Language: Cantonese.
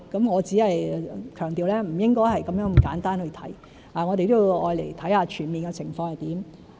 我想強調不應該這麼簡單地去看，我們都要看看全面的情況是怎樣。